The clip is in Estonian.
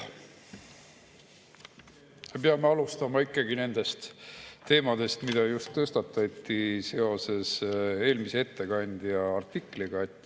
Me peame alustama ikkagi nendest teemadest, mis just tõstatati seoses eelmise ettekandja artikliga.